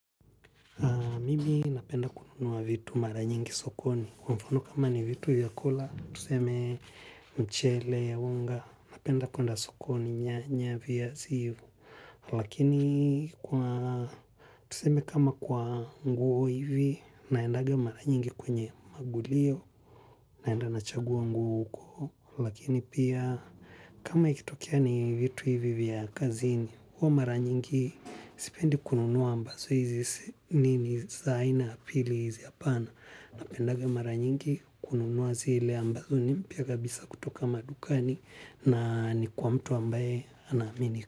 Mimi napenda kununua vitu mara nyingi sokoni. Kwa mfano kama ni vitu ya kula, tuseme mchele, unga, napenda kwenda sokoni, nyanya, viazi. Lakini kwa, tuseme kama kwa nguo hivi, naendaga mara nyingi kwenye magulio, naenda na chagua nguo huko. Lakini pia, kama ikitokea ni vitu hivi vya kazini, huo mara nyingi sipendi kununuwa ambazo hizii nini zaina. Pili hizi hapana na pendaga mara nyingi kununuwa zile ambazo ni mpia kabisa kutoka madukani na ni kwa mtu ambaye anahamini.